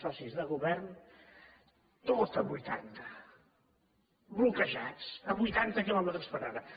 socis de govern tot a vuitanta bloquejats a vuitanta quilòmetres per hora